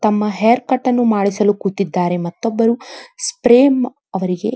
ತಮ್ಮ haircut ಅನ್ನು ಮಾಡಿಸಲು ಕೂತಿದ್ದರೆ ಮತ್ತೊಬ್ಬರು ಸ್ಪ್ರೇಮ್ ಅವರಿಗೆ --